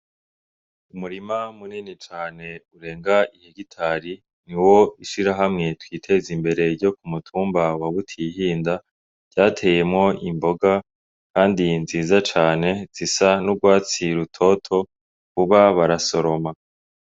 Umurima munini cane urenga ihegitari niwo ishirahamwe Twitezimbere ryo kumutumba wa butihinda ryateyemwo Imboga kandi nziza cane zisa n’urwatsi rutoto vuba barasoroma.